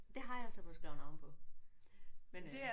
Det har jeg så fået skrevet navn på men øh